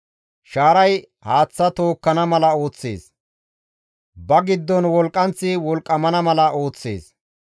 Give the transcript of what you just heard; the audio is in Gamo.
Shaaray haaththa tookkana mala ooththees; ba giddon wolqqanththi wolqqamana mala ooththees.